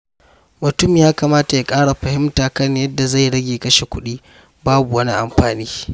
Mutum ya kamata ya ƙara fahimta kan yadda zai rage kashe kuɗi babu wani amfani.